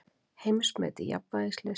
Heimsmet í jafnvægislist